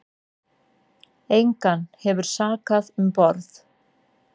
Engan hefur sakað um borð